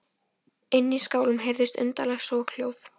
Inni í skálanum heyrðust undarleg soghljóð.